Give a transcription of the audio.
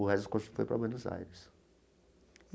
O resto do conjunto foi para Buenos Aires.